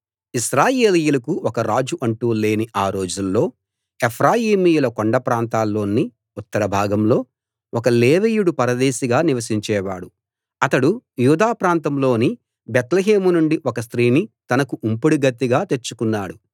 ఇశ్రాయేలీయులకు ఒక రాజు అంటూ లేని ఆ రోజుల్లో ఎఫ్రామీయుల కొండ ప్రాంతాల్లోని ఉత్తర భాగంలో ఒక లేవీయుడు పరదేశిగా నివసించేవాడు అతడు యూదా ప్రాంతంలోని బేత్లెహేము నుండి ఒక స్త్రీని తనకు ఉంపుడుగత్తెగా తెచ్చుకున్నాడు